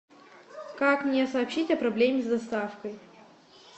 как мне сообщить о проблеме с доставкой